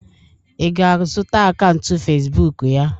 ị ga-azụta akaụntụ Facibụkụ ya?